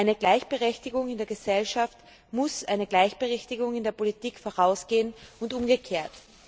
Eine Gleichberechtigung in der Gesellschaft muss einer Gleichberechtigung in der Politik vorausgehen und umgekehrt.